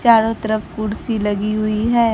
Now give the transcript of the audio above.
चारों तरफ कुर्सी लगी हुए हैं।